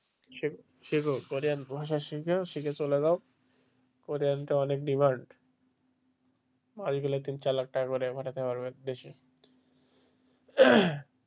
শেখো কোরিয়ান ভাষা শেখো শিখে চলে যাও কোরিয়ানটা অনেক demand বাইরে গেলে পরে তুমি চাগার লাখ টাকা করে পাঠাতে পারবে দেশে।